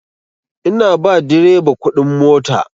Ina ba direba kuɗin mota.